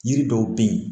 Yiri dɔw be yen